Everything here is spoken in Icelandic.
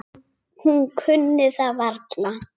Hún kunni það varla.